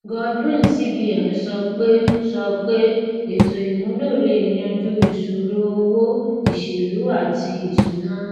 godwin cbn sọ pé sọ pé ètòìmúlò lè yanjú ìṣòro owó ìṣèlú àti ìṣúná